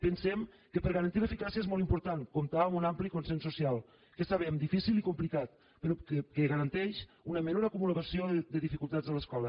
pensem que per garantir l’eficàcia és molt important comptar amb un ampli consens social que sabem difícil i complicat però que garanteix una menor acumulació de dificultats a l’escola